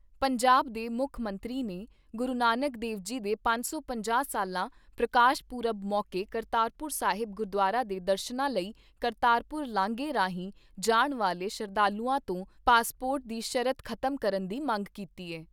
ਪੰਜਾਬ ਦੇ ਮੁੱਖ ਮੰਤਰੀ ਨੇ, ਗੁਰੂ ਨਾਨਕ ਦੇਵ ਜੀ ਦੇ ਸਾਢੇ ਪੰਜ ਸੌ ਸਾਲਾ ਪ੍ਰਕਾਸ਼ ਪੁਰਬ ਮੌਕੇ ਕਰਤਾਰਪੁਰ ਸਾਹਿਬ ਗੁਰਦੁਆਰਾ ਦੇ ਦਰਸ਼ਨਾਂ ਲਈ ਕਰਤਾਰਪੁਰ ਲਾਂਘੇ ਰਾਹੀਂ ਜਾਣ ਵਾਲੇ ਸ਼ਰਧਾਲੂਆਂ ਤੋਂ ਪਾਸਪੋਰਟ ਦੀ ਸ਼ਰਤ ਖਤਮ ਕਰਨ ਦੀ ਮੰਗ ਕੀਤੀ ਏ।